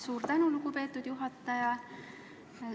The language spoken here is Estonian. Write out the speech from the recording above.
Suur tänu, lugupeetud juhataja!